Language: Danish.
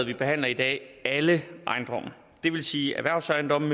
vi behandler i dag alle ejendomme det vil sige erhvervsejendomme